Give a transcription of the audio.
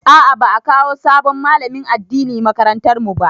A'a, ba'a kawo sabon malamin addini makarantar mu ba.